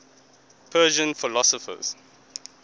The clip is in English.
persian philosophers